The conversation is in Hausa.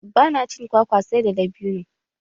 Ba na cin kwakwa sai da dabinu.